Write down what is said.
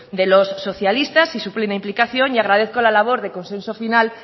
de los socialistas y su plena implicación y agradezco la labor de consenso final